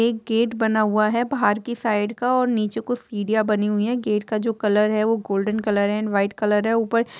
एक गेट बना हुआ है बाहर की साइड का और नीचे कुछ सीढ़ियां बनी हुई है गेट का जो कलर है वो गोल्डन कलर है एण्ड व्हाइट कलर है ऊपर--